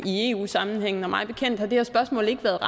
i eu sammenhæng og mig bekendt har det her spørgsmål ikke været